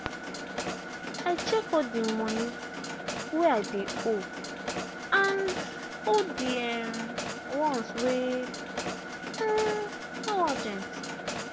i check all the money um i dey owe and hold the um ones wey um no urgent.